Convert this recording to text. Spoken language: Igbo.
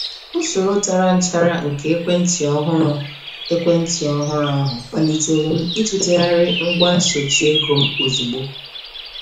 Usoro tàrà nchárá nke ekwentị ọhụrụ ekwentị ọhụrụ ahụ, kpalitere m itụtegharị ngwa nsochi ego m ozugbo.